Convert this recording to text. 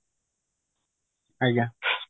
ଆଜ୍ଞା